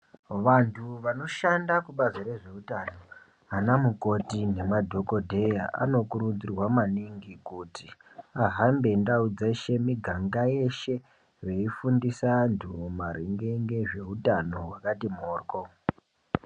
Vantu vanoshanda kubazi rwezveutano ana mukoti nemadhokoteya anokurudzirwa maningi kuti ahambe ndau dzeshe muganga yeshe veifundisa vantu maringe nezveutano hwakati moryo.